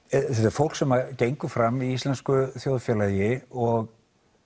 fólk sem gengur fram í íslensku þjóðfélagi og